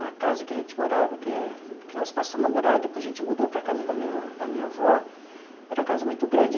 A casa que a gente morava, que que nós passamos a morar, depois a gente mudou para a casa da minha da minha avó, era uma casa muito grande.